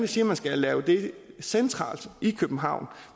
siger man skal lave det centralt i københavn